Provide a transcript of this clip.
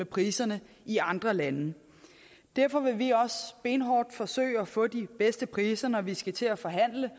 priserne i andre lande derfor vil vi også benhårdt forsøge at få de bedste priser når vi skal til at forhandle